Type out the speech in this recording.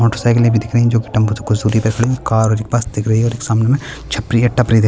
मोटरसाइकिले भी दिख रही हैं जो की टम्पू से कुछ दूरी पर हैं कार और एक बस दिख रही है और एक सामने में छपरी है टपरी दिख रही --